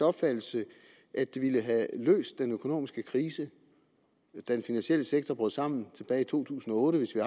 opfattelse at det ville have løst den økonomiske krise da den finansielle sektor brød sammen tilbage i to tusind og otte hvis vi